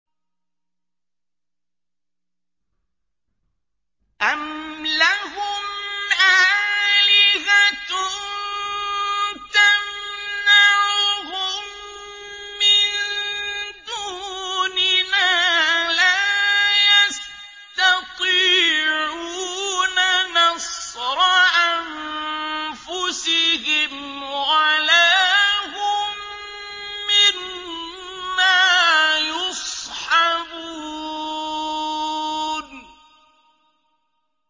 أَمْ لَهُمْ آلِهَةٌ تَمْنَعُهُم مِّن دُونِنَا ۚ لَا يَسْتَطِيعُونَ نَصْرَ أَنفُسِهِمْ وَلَا هُم مِّنَّا يُصْحَبُونَ